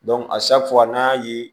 n'an y'a ye